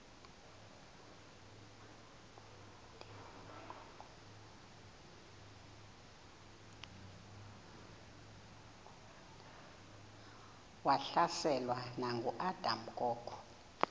wahlaselwa nanguadam kok